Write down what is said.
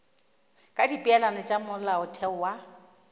ka dipeelano tša molaotheo wa